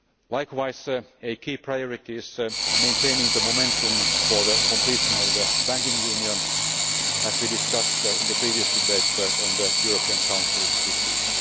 Likewise, a key priority is maintaining the momentum for the completion of the banking union, as we discussed in the previous debate on the European Council this week.